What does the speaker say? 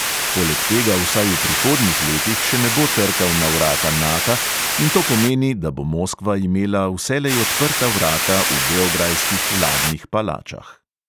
Poleg tega vsaj v prihodnjih letih še ne bo trkal na vrata nata in to pomeni, da bo moskva imela vselej odprta vrata v beograjskih vladnih palačah.